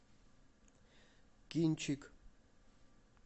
кинчик